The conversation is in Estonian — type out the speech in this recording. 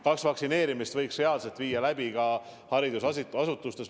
Kas vaktsineerimist võiks läbi viia ka haridusasutustes?